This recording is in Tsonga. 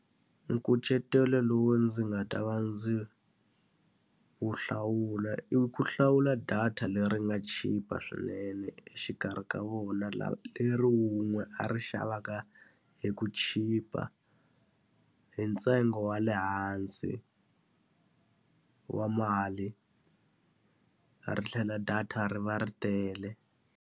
Nkucetelo lowu ndzi nga ta va ndzi wu hlawula i ku hlawula data leri nga chipa swinene exikarhi ka vona leri wun'we a rixaka a va ka hi ku chipa, hi ntsengo wa le hansi wa mali. Ri tlhela data ri va ri tele.